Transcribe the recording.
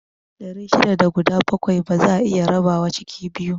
Ɗari shida da guda bakwai ba za'a iya rabawa ciki biyu